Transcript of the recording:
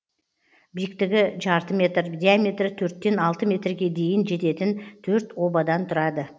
биіктігі жарты метр диаметрі төрттен алты метрге дейін жететін төрт обадан тұрады